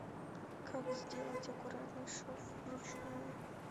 как сделать аккуратный шов вручную